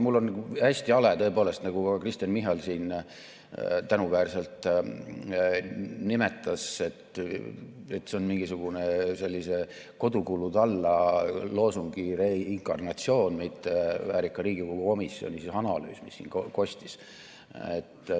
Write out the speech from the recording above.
Mul on hästi hale, tõepoolest, nagu ka Kristen Michal siin tänuväärselt nimetas, et see oli mingisugune sellise "Kodukulud alla!" loosungi reinkarnatsioon, mitte väärika Riigikogu komisjoni analüüs, mis siin kostis.